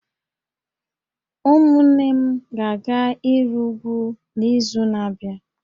Ụmụnne m ga-aga ịrị úgwú n’izu na-abịa